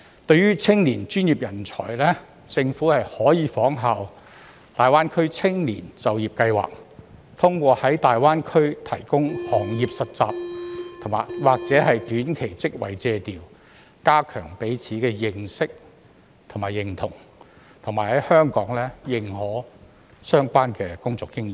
對於青年專業人才，政府可效仿大灣區青年就業計劃，通過在大灣區提供行業實習或短期職位借調，加強彼此的認識及認同，並在香港認可相關工作經驗。